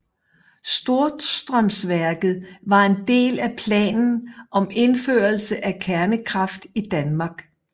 Storstrømsværket var en del af planen om indførelse af kernekraft i Danmark